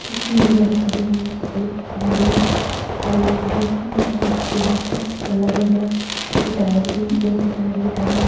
यु तीन गाड़ी खड़ी हुईं सपेद गाड़ी पुर्जा वल्ला गडयाँ ये टायर भी एक टायर निकल्याँ।